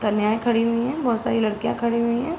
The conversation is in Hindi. कन्याएं खड़ी हुई हैं। बोहोत सारी लड़कियां खड़ी हुई हैं।